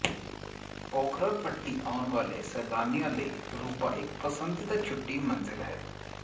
ਪੋਖਰਾ ਘਾਟੀ ਆਉਣ ਵਾਲੇ ਸੈਲਾਨੀਆਂ ਲਈ ਰੁਪਾ ਇਕ ਪਸੰਦੀਦਾ ਛੁੱਟੀ ਮੰਜ਼ਿਲ ਹੈ